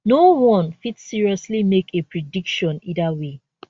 noone fit seriously make a prediction either way